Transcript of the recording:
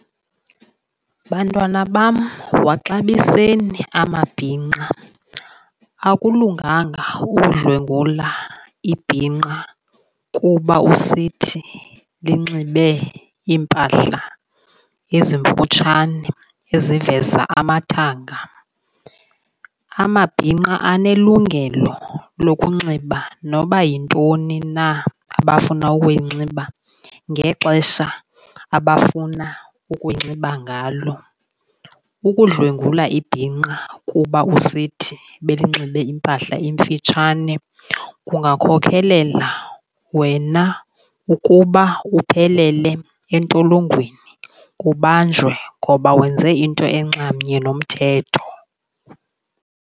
Bantwana bam, waxabiseni amabhinqa. Akulunganga ukudlwengula ibhinqa kuba usithi linxibe iimpahla ezimfutshane eziveza amathanga. Amabhinqa anelungelo lokunxiba noba yintoni na abafuna ukuyinxiba ngexesha abafuna ukuyinxiba ngalo. Ukudlwengula ibhinqa kuba usithi belinxibe impahla emfitshane kungakhokelela wena ukuba uphelele entolongweni, ubanjwe ngoba wenze into enxamnye nomthetho.